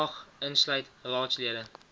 mag insluit raadslede